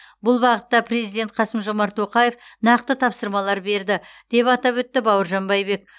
бұл бағытта президент қасым жомарт тоқаев нақты тапсырмалар берді деп атап өтті бауыржан байбек